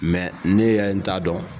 ne ye n ta dɔn